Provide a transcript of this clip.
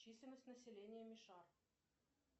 численность населения мишар